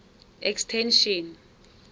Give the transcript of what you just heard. extension